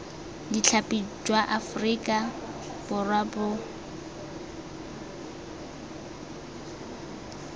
ditlhapi jwa aforika borwa bo